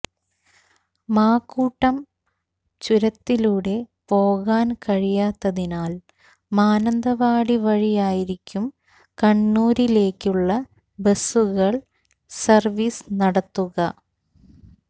മാക്കൂട്ടം ചുരത്തിലൂടെ പോകാൻ കഴിയാത്തതിനാൽ മാനന്തവാടിവഴിയായിരിക്കും കണ്ണൂരിലേക്കുള്ള ബസുകൾ സർവീസ് നടത്തുക